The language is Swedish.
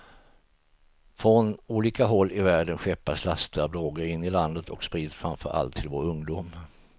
Från olika håll i världen skeppas laster av droger in i landet och sprids framför allt till vår ungdom.